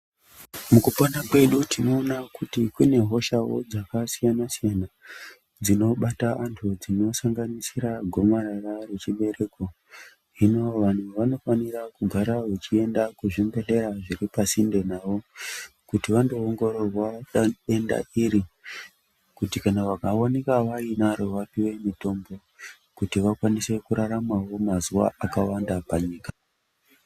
Mukupona kwedu tinona kuti kune hoshawo dzakasiyana siyana dzinobata vandu dzinosanganisira gomarara rechibereko hino vandu vanofanirwa kagare vachienda kuzvibhehlera zviri pasinde navo kuti vandoongororwa denda iri kuti vakaoneka vainaro vapuwe mutombo kuti vakwanise kuraramawo mazuva akawanda panyika.